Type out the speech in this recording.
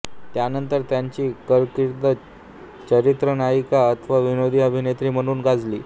त्यानंतर त्याची कारकीर्द चरित्रनायिका अथवा विनोदी अभिनेत्री म्हणून गाजली